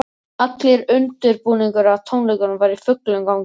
Allur undirbúningur að tónleikunum var í fullum gangi.